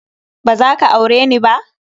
Ba za ka aure ni ba?